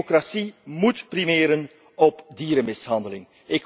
Democratie moet primeren op dierenmishandeling.